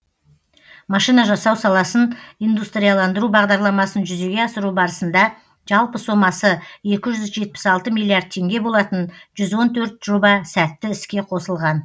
машина жасау саласын индустрияландыру бағдарламасын жүзеге асыру барысында жалпы сомасы екі жүз жетпіс алты миллиард теңге болатын жүз он төрт жоба сәтті іске қосылған